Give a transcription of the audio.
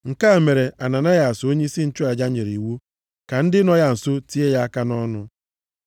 Nke a mere, Ananayas onyeisi nchụaja nyere iwu ka ndị nọ ya nso tie ya aka nʼọnụ.